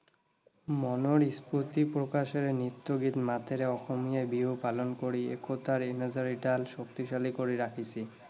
মনৰ স্‌ফুৰ্তি প্ৰকাশেৰে নৃত্যগীত মাতেৰে অসমীয়াই বিহু পালন কৰি একতাৰ এনাজৰী ডাল শক্তিশালী কৰি ৰাখিছে।